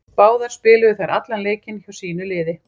Báðar spiluðu þær allan leikinn hjá sínu liði.